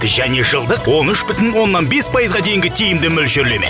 және жылдық он үш бүтін оннан бес пайызға дейінгі тиімді мөлшерлеме